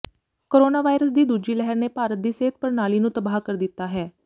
corona virus ਦੀ ਦੂਜੀ ਲਹਿਰ ਨੇ ਭਾਰਤ ਦੀ ਸਿਹਤ ਪ੍ਰਣਾਲੀ ਨੂੰ ਤਬਾਹ ਕਰ ਦਿੱਤਾ ਹੈ